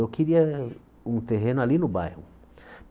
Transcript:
Eu queria um terreno ali no bairro.